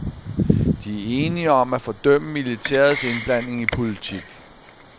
De er enige om at fordømme militærets indblanding i politik.